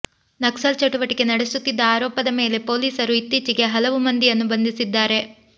ನಕ್ಸಲ್ ಚಟುವಟಿಕೆ ನಡೆಸುತ್ತಿದ್ದ ಆರೋಪದ ಮೇಲೆ ಪೊಲೀಸರು ಇತ್ತೀಚೆಗೆ ಹಲವು ಮಂದಿಯನ್ನು ಬಂಧಿಸಿದ್ದರು